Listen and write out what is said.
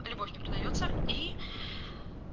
любовь не продаётся и